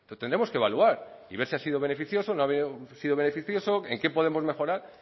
tendremos que evaluar y ver si ha sido beneficioso no ha sido beneficioso en qué podemos mejorar